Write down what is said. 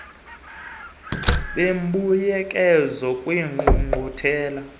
kubulungisa bembuyekezo kwiingqungquthela